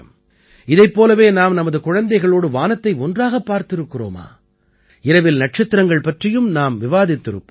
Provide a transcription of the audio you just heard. இதைப் போலவே நாம் நமது குழந்தைகளோடு வானத்தை ஒன்றாகப் பார்த்திருக்கிறோமா இரவில் நட்சத்திரங்கள் பற்றியும் நாம் விவாதித்திருப்போம்